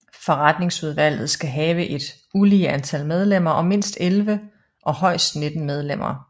Forretningsudvalget skal have et ulige antal medlemmer og mindst 11 og højst 19 medlemmer